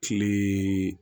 Kile